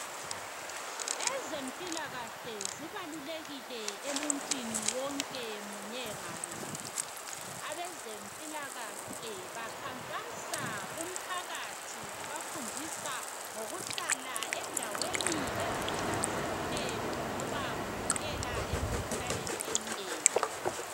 Ezempilakahle zibalulekile emuntwini wonke munye ngamunye. Abezempilakahle bakhankasa kumphakathi bebafundisa ngokuhlala endaweni ezihlanzekileyo ngoba kuvikela emikhuhlaneni eminengi.